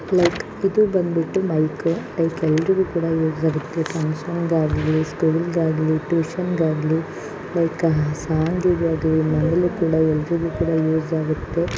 Mike ಇದು ಬಂದ್ಬಿಟ್ಟು mike . Mike ಅಂಗ್ಡಿಲು ಕೂಡ ಯೂಸ್ ಆಗುತ್ತೆ. ಫಂಕ್ಷನ್ ಗಾಗ್ಲಿ ಸ್ಕೂಲ್ ಗಾಗ್ಲಿ ಟ್ಯೂಷನ್ ಗಾಗ್ಲಿ ಮೈಕು ಸಾಂಗಿಗ್ ಆಗ್ಲಿ ನಮಗೂ ಕೂಡ ಎಲ್ಲರಿಗೂ ಯೂಸ್ ಆಗುತ್ತೆ.